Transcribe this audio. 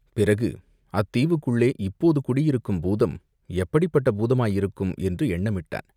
பிறகு அத்தீவுக்குள்ளே இப்போது குடியிருக்கும் பூதம் எப்படிப்பட்ட பூதமாயிருக்கும் என்று எண்ணமிட்டான்.